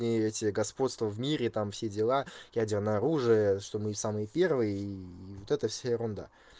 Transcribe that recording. и эти господства в мире там все дела ядерное оружие что мы самые первые и вот это вся ерунда